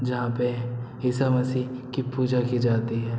जहाँ पे ईशा मसीह की पूजा की जाती है।